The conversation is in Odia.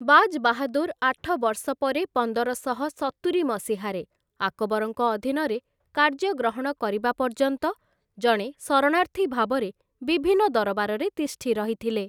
ବାଜ୍‌ ବାହାଦୂର୍‌, ଆଠ ବର୍ଷ ପରେ ପନ୍ଦରଶହ ସତୁରି ମସିହାରେ, ଆକବରଙ୍କ ଅଧୀନରେ କାର୍ଯ୍ୟ ଗ୍ରହଣ କରିବା ପର୍ଯ୍ୟନ୍ତ, ଜଣେ ଶରଣାର୍ଥୀ ଭାବରେ ବିଭିନ୍ନ ଦରବାରରେ ତିଷ୍ଠି ରହିଥିଲେ ।